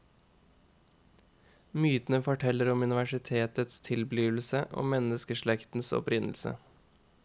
Mytene forteller om universets tilblivelse og menneskeslektens opprinnelse.